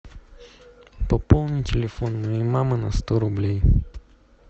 пополни телефон моей мамы на сто рублей